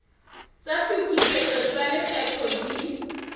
tsa tokisetso tsa lekgetho di